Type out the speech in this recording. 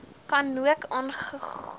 ka nook aangehou